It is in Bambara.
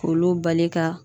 K'olu bali ka